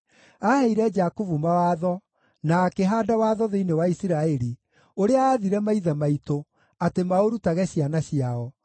Aaheire Jakubu mawatho, na akĩhaanda watho thĩinĩ wa Isiraeli, ũrĩa aathire maithe maitũ atĩ maũrutage ciana ciao,